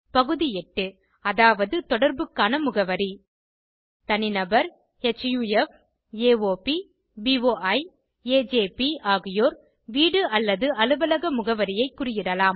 பகுதி 8 அதாவது தொடர்புக்கான முகவரி தனிநபர்HUFAOPBOIAJP ஆகியோர் வீடு அல்லது அலுவலக முகவரியை குறியிடலாம்